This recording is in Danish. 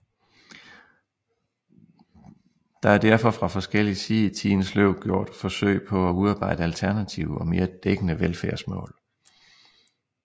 Der er derfor fra forskellig side i tidens løb gjort forsøg på at udarbejde alternative og mere dækkende velfærdsmål